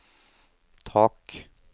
tak